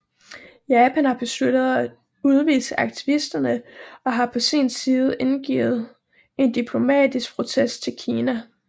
Japan har besluttet at udvise aktivisterne og har på sin side indgivet en diplomatisk protest til Kina